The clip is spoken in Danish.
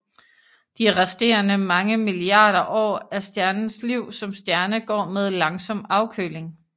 De resterende mange milliarder år af stjernens liv som stjerne går med langsom afkøling